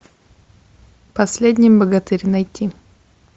последний богатырь найти